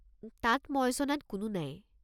তাত মই জনাত কোনো নাই।